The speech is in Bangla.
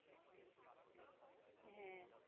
হ্যাঁ,